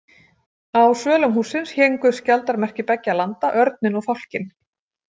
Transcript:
Á svölum hússins héngu skjaldarmerki beggja landa, örninn og fálkinn.